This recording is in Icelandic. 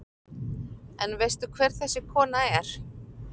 En veistu hver þessi kona er?